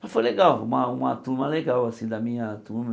Mas foi legal, uma uma turma legal, assim, da minha turma.